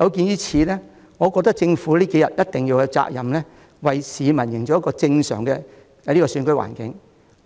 有見及此，我認為政府這幾天必須負責為市民營造一個正常的選舉環境，